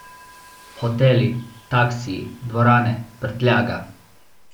Hoteli, taksiji, dvorane, prtljaga.